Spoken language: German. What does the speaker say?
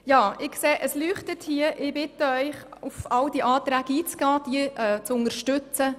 Ja, ich sehe, das Lämpchen blinkt, und ich bitte Sie, auf all diese Anträge einzugehen und diese zu unterstützen.